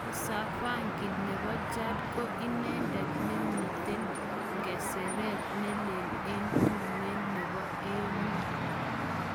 Moussa faki nepo chad ko idetet ne miten ngeseret nelee en tume nepo AU